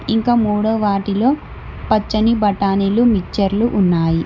ఇంకా మూడో వాటిలో పచ్చని బఠానీలు మిక్చర్లు ఉన్నాయి.